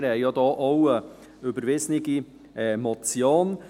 Wir haben dazu auch eine zu überweisende Motion